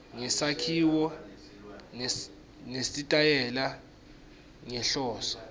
ngesakhiwo nesitayela ngenhloso